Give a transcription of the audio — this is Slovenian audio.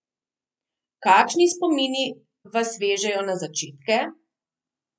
Kakšni spomini vas vežejo na začetke?